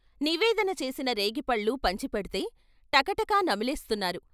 నివేదన చేసిన రేగిపళ్ళు పంచిపెడ్తే టక టక నమిలేస్తున్నారు.